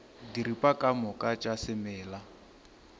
diripa ka moka tša semela